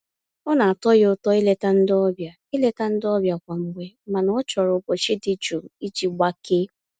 Ọ na-atọ ya ụtọ ileta ndị ọbịa ileta ndị ọbịa kwa mgbe mana ọ chọrọ ụbọchị dị jụụ iji gbakee.